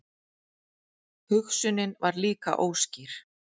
Hugsunin var líka óskýr.